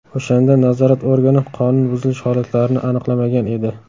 O‘shanda nazorat organi qonun buzilish holatlarini aniqlamagan edi.